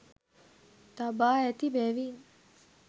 තබා ඇති බැවින්